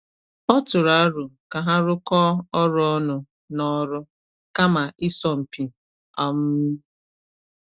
O tụrụ aro ka ha rụkọ ọrụ ọnụ n’ọrụ, kama ịsọ mpi. um